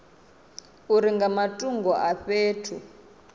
uri nga matungo a fhethu